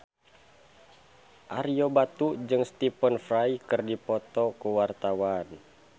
Ario Batu jeung Stephen Fry keur dipoto ku wartawan